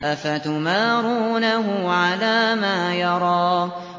أَفَتُمَارُونَهُ عَلَىٰ مَا يَرَىٰ